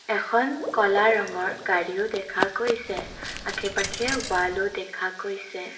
এখন কলা ৰঙৰ গাড়ীও দেখা গৈছে আশে পাশে ৱালো দেখা গৈছে।